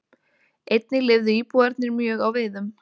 Einnig lifðu íbúarnir mjög á veiðum.